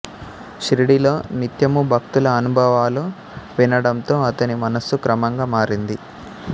శిరిడీలో నిత్యమూ భక్తుల అనుభవాలు వినడంతో అతని మనస్సు క్రమంగా మారింది